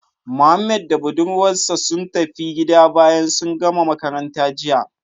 Mohammed da budurwar sa sun tafi gida bayan sun gama makaranta jiya